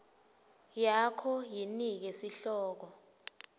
yakho yinike sihloko